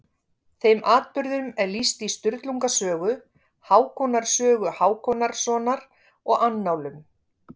Þeim atburðum er lýst í Sturlunga sögu, Hákonar sögu Hákonarsonar og annálum.